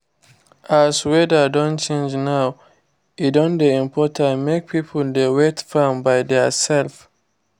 as weather don change now e don dey important make people dey wet farm by their self